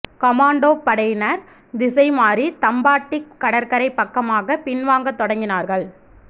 கொமாண்டோப் படையினர் திசைமாறித் தம்பாட்டிக் கடற்கரைப் பக்கமாகப் பின்வாங்கத் தொடங்கினார்கள்